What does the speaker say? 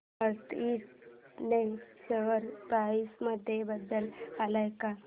north eastern share price मध्ये बदल आलाय का